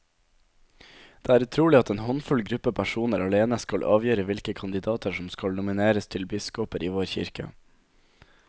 Det er utrolig at en håndfull gruppe personer alene skal avgjøre hvilke kandidater som skal nomineres til biskoper i vår kirke.